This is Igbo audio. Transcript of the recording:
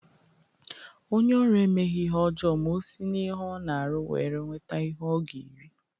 Onye oru emeghi ihe ojoo ma o si n'ihe o na-aru were nweta ihe o ga-eri.